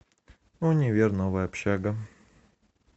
универ новая общага